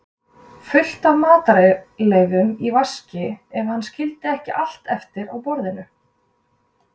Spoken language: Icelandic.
fullt af matarleifum í vaskinn, ef hann skildi ekki allt eftir á borðinu.